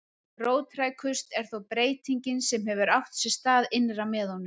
Róttækust er þó breytingin sem hefur átt sér stað innra með honum